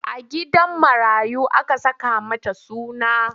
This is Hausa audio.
A gidan marayu aka saka mata suna.